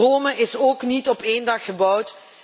Rome is ook niet in één dag gebouwd!